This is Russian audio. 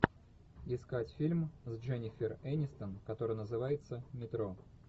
искать фильм с дженнифер энистон который называется метро